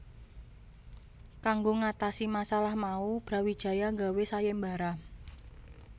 Kanggo ngatasi masalah mau Brawijaya gawé sayembara